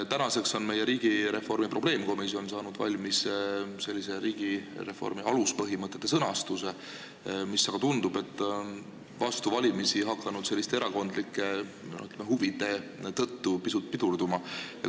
Tänaseks on meie riigireformi probleemkomisjon saanud valmis riigireformi aluspõhimõtete sõnastamise, aga tundub, et vastu valimisi on nende heakskiitmine hakanud erakondlike huvide tõttu pisut pidurduma.